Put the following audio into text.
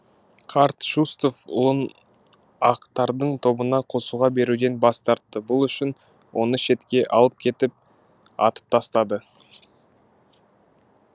қарт шустов ұлын ақтардың тобына қосуға беруден бас тартты бұл үшін оны шетке алып кетіп атып тастады